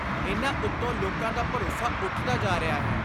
ਇਨ੍ਹਾਂ ਉਤੋਂ ਲੋਕਾਂ ਦਾ ਭਰੋਸਾ ਉੱਠਦਾ ਜਾ ਰਿਹਾ ਹੈ।